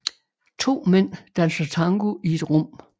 To mænd danser tango i et rum